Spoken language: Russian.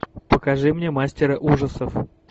покажи мне мастера ужасов